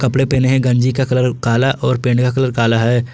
कपड़े पहने हैं गंजी का कलर काला और पैंट का कलर काला है।